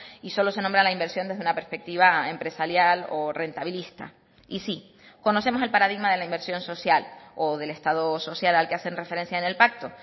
y solo se nombra la inversión desde una perspectiva empresarial o rentabilista y sí conocemos el paradigma de la inversión social o del estado social al que hacen referencia en el pacto